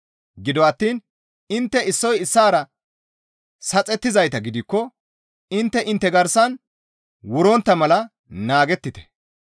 Gido attiin intte issoy issaara saxettizayta gidikko intte intte garsan wurontta mala naagettite.